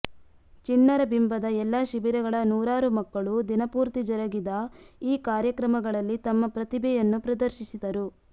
ಚಿಣ್ಣರ ಬಿಂಬದ ಎಲ್ಲಾ ಶಿಭಿರಗಳ ನೂರಾರು ಮಕ್ಕಳು ದಿನಪೂರ್ತಿ ಜರಗಿದ ಈ ಕಾರ್ಯಕ್ರಮಗಳಲ್ಲಿ ತಮ್ಮ ಪ್ರತಿಭೆಯನ್ನು ಪ್ರದರ್ಶಿಸಿದರು